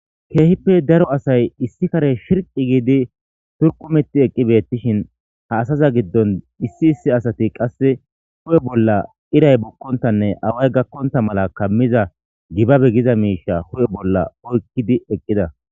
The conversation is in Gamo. Keehippe daro asay issi kare shirqi giidi turkumetti eqqibettishin ha asaza giddon issi issi asati qasse hu7e bolla iray bukkontanne away gakkonta mala kammiza gibabe giza miisha hu7e bolla oykkidi eqqida.